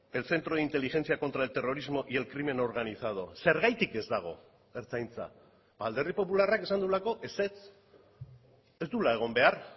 el centro de inteligencia contra el terrorismo y el crimen organizado zergatik ez dago ertzaintza alderdi popularrak esan duelako ezetz ez duela egon behar